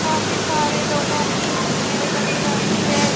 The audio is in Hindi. काफी सारे लोगों की भीड़ लगी रहती है।